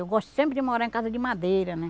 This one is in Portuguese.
Eu gosto sempre de morar em casa de madeira, né?